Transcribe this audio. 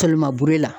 Kɛlɛma b'e la